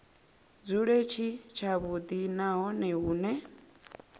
dzule tshi tshavhudi nahone hune